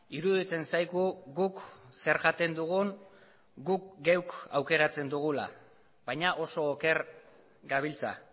iruditzen zaigu guk zer jaten dugun guk geuk aukeratzen dugula baina oso oker gabiltza